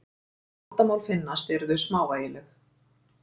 Ef vandamál finnast eru þau smávægileg.